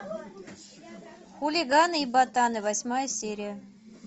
хулиганы и ботаны восьмая серия